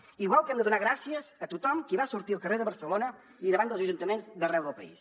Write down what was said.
igual que hem de donar gràcies a tothom qui va sortir al carrer de barcelona i davant dels ajuntaments d’arreu del país